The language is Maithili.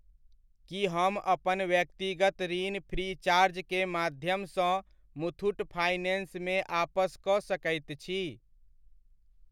की हम अपन व्यक्तिगत ऋण फ्रीचार्ज के माध्यमसँ मुथूट फाइनेंस मे आपस कऽ सकैत छी ?